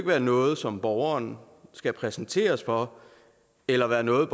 være noget som borgeren skal præsenteres for eller være noget